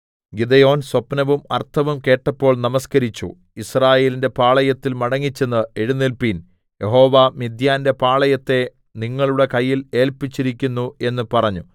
Gideon സ്വപ്നവും അർഥവും കേട്ടപ്പോൾ നമസ്കരിച്ചു യിസ്രായേലിന്റെ പാളയത്തിൽ മടങ്ങിച്ചെന്നു എഴുന്നേല്പിൻ യഹോവ മിദ്യാന്റെ പാളയത്തെ നിങ്ങളുടെ കയ്യിൽ ഏല്പിച്ചിരിക്കുന്നു എന്ന് പറഞ്ഞു